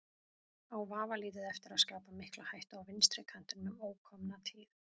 Á vafalítið eftir að skapa mikla hættu á vinstri kantinum um ókomna tíð.